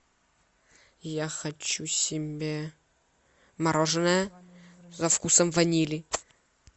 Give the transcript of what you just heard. я хочу себе мороженое со вкусом ванили